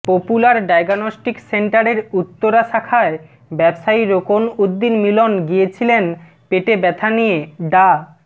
popular diagnostic সেন্টারের উত্তরা শাখায় ব্যবসায়ী রোকন উদ্দিন মিলন গিয়েছিলেন পেটে ব্যথা নিয়ে ডা